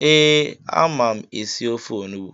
Ee, ama m esi ofe onugbu